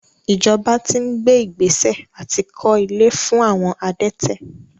Ìjọba ti ń gbé ìgbésẹ̀ àti kó ilé fún àwọn adẹ́tẹ̀.